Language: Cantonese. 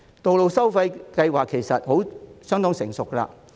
道路收費其實已相當成熟。